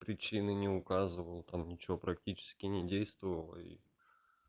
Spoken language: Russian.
причины не указывал там ничего практически не действовало и